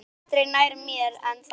Aldrei nær mér en þá.